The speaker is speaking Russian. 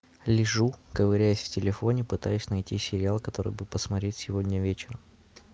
лежу ковыряюсь в телефоне пытаюсь найти сериал который бы посмотреть сегодня вечером